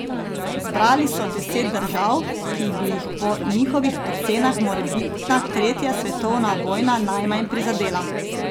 Zbrali so deset držav, ki bi jih po njihovih ocenah morebitna tretja svetovna vojna najmanj prizadela.